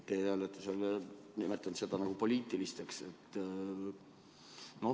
Te olete nimetanud neid poliitilisteks.